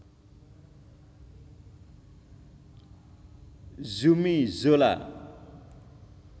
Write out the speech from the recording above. Zumi Zola